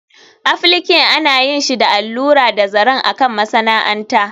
Applique ana yin shi da allura da zaren a kan masana'anta